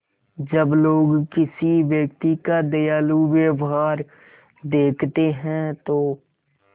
जब लोग किसी व्यक्ति का दयालु व्यवहार देखते हैं तो